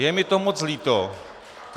Je mi to moc líto.